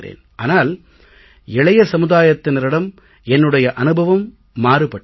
ஆனால் இளைய சமுதாயத்தினரிடம் என்னுடைய அனுபவம் மாறுபட்டது